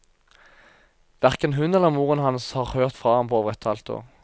Hverken hun eller moren hans har hørt fra ham på over et halvt år.